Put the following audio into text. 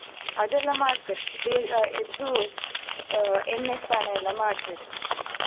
ಅದೆಲ್ಲ ಮಾಡ್ತೇವೆ ಬೇಗ ಎದ್ದು ಆಹ್ ಎಣ್ಣೆ ಸ್ನಾನ ಎಲ್ಲಾ ಮಾಡ್ತೇವೆ.